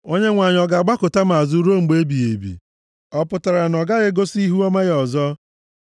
“Onyenwe anyị ọ ga-agbakụta m azụ ruo mgbe ebighị ebi? Ọ pụtara na ọ gaghị egosi ihuọma ya ọzọ?